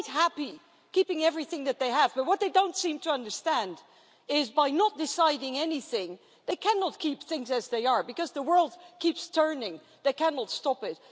They are quite happy keeping everything that they have. But what they don't seem to understand is that by not deciding anything, they cannot keep things as they are, because the world keeps turning they cannot stop it.